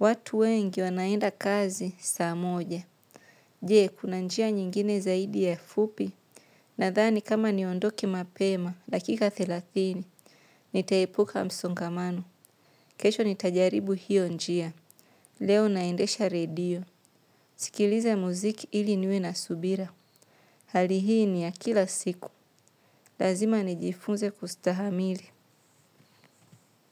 Watu wengi wanaenda kazi saa moja. Je, kuna njia nyingine zaidi ya fupi. Nadhani kama niondoke mapema, dakika thelathini nitaepuka msongamano. Kesho nitajaribu hiyo njia. Leo naendesha redio, sikilize muziki ili niwe na subira. Hali hii ni ya kila siku, lazima nijifunze kustahamili.